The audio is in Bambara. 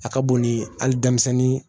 A ka bon ni hali denmisɛnnin ye